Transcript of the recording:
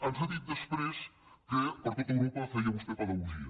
ens ha dit després que per tot europa feia vostè pedagogia